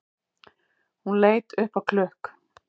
Hún leit upp á klukk